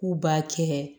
K'u b'a kɛ